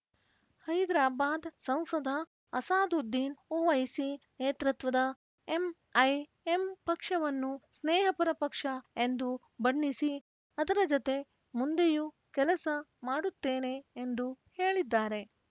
ಹೈದರಾಬಾದ್‌ ಸಂಸದ ಅಸಾದುದ್ದೀನ್‌ ಒವೈಸಿ ನೇತೃತ್ವದ ಎಂಐಎಂ ಪಕ್ಷವನ್ನು ಸ್ನೇಹಪರ ಪಕ್ಷ ಎಂದು ಬಣ್ಣಿಸಿ ಅದರ ಜತೆ ಮುಂದೆಯೂ ಕೆಲಸ ಮಾಡುತ್ತೇನೆ ಎಂದು ಹೇಳಿದ್ದಾರೆ